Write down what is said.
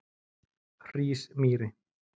Hrísmýri